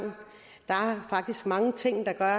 der er faktisk mange ting der